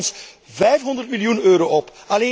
Het levert ons 500 miljoen euro